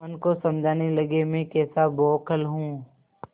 मन को समझाने लगेमैं कैसा बौखल हूँ